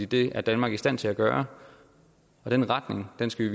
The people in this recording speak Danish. det er danmark i stand til at gøre den retning skal